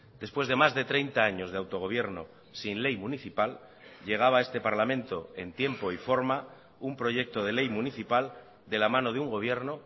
después de más de treinta años de autogobierno sin ley municipal llegaba a este parlamento en tiempo y forma un proyecto de ley municipal de la mano de un gobierno